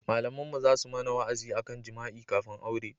Malaminmu za su mana wa'azi a kan jima'i kafin aure